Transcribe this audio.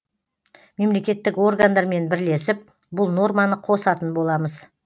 мемлекеттік органдармен бірлесіп бұл норманы қосатын боламыз